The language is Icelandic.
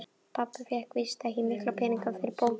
Pabbi fékk víst ekki mikla peninga fyrir bókina sína.